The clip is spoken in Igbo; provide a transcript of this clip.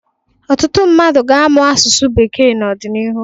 Ọtụtụ mmadụ ga-amụ asụsụ bekee n’ọdịnihu